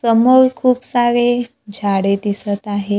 समोर खूप सारे झाडे दिसतं आहेत.